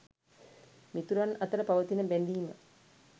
මිතුරන් අතර පවතින බැඳීම